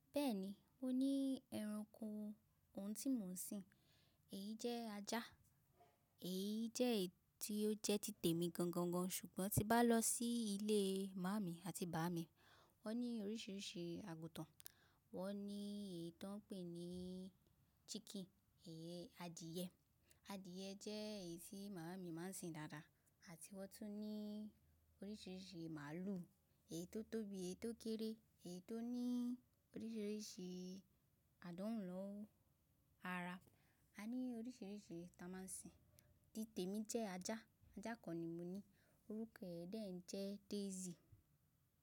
Bẹ́ẹ̀ni, ó ní ẹranko, òun tí mò ń sìn, èyí jẹ́ ajá, èyí jẹ́ èyí tí ó jẹ́ títè mi gangan gan. Ṣùgbọ́n tí bá lọ sí ilé màámi àti bàbá mi, wọ́n ní oríṣiríṣi àgùntàn, wọ́n ní èyí tí wọ́n ń pè ní chicken, iyen adìẹ, adìẹ jẹ́ èyí tí màámi máa ń sìn dáadáa àti wọ́n tún ní oríṣiríṣi màlúù, èyí tó tóbi, èyí tó kéré, èyí tó ní oríṣiríṣi àdánwu ni ara. A ní oríṣiríṣi tí a máa ń sìn, títè mi jẹ́ ajá, ajá kan ni mo ní, orúkọ rẹ̀ dẹ́ẹ̀ jẹ́ Daisy.